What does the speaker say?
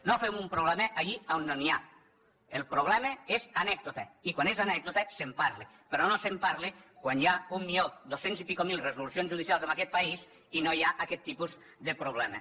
no fem un problema allí on no n’hi ha el problema és anècdota i quan és anècdota se’n parla però no se’n parla quan hi ha un milió dues centes mil resolucions judicials i escaig en aquest país i no hi ha aquest tipus de problema